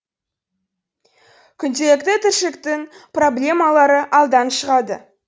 күнделікті тіршіліктің проблемалары алдан шығады